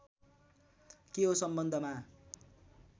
के हो सम्बन्धमा